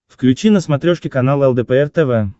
включи на смотрешке канал лдпр тв